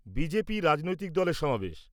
BJP রাজনৈতিক দলের সমাবেশ।